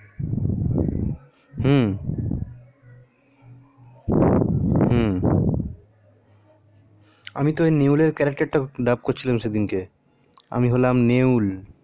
হু হু আমি তো ওই নেওলার character টা dav করছিলাম সেদিনকে আমি হলাম নেউল